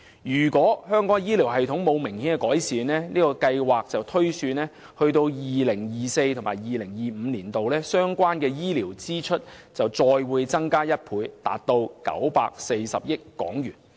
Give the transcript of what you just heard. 據這項調查推算，倘若香港的醫療體系沒有明顯改善，至 2024-2025 年度，相關的醫療支出將再增加1倍至940億港元。